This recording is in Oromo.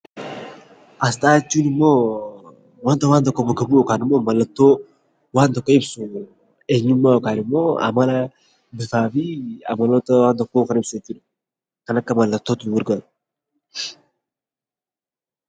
Aasxaa jechuunimmoo wanta waan tokko bakka bu'u yookanimmoo mallattoo waan tokko ibsu eenyummaa yookanimmoo amala bifaafi amaloota waan tokkoo kan ibsu jechuudha. Kan akka mallattootti nu gargaaru.